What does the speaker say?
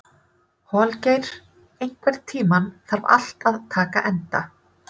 Holgeir, einhvern tímann þarf allt að taka enda.